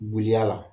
Giliya la